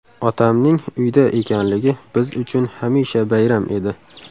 Otamning uyda ekanligi biz uchun hamisha bayram edi.